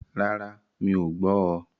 Rárá, mí ọ̀ gbọ́ oo.